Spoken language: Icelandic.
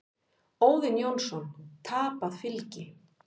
Óðinn Jónsson: Tapað fylgi.